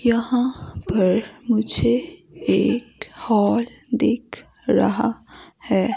यहां पर मुझे एक हॉल दिख रहा है।